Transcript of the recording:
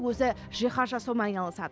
өзі жиһаз жасаумен айналысады